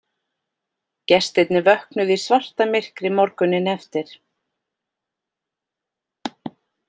Gestirnir vöknuðu í svartamyrkri morguninn eftir